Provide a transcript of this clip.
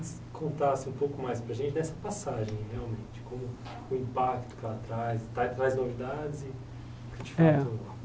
Eu queria que você contasse um pouco mais para a gente dessa passagem, realmente, como o impacto que ela traz, traz novidades. É